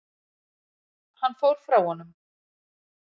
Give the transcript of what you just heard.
Hann fór frá honum.